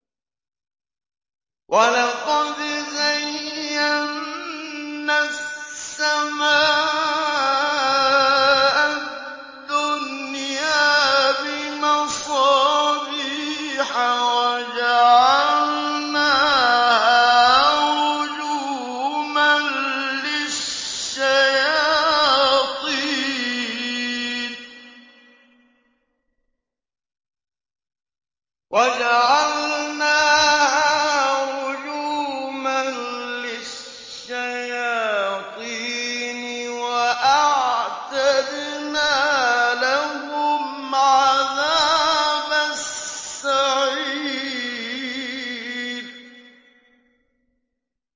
وَلَقَدْ زَيَّنَّا السَّمَاءَ الدُّنْيَا بِمَصَابِيحَ وَجَعَلْنَاهَا رُجُومًا لِّلشَّيَاطِينِ ۖ وَأَعْتَدْنَا لَهُمْ عَذَابَ السَّعِيرِ